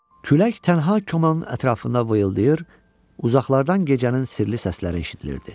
Külək tənha komanın ətrafına vıyıldayır, uzaqlardan gecənin sirli səsləri eşidilirdi.